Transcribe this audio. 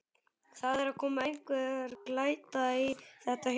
Það er að koma einhver glæta í þetta hjá mér.